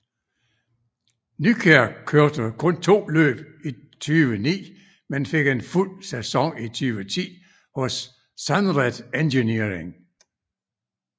Nykjær kørte kun to løb i 2009 men fik en fuld sæson i 2010 hos SUNRED Engineering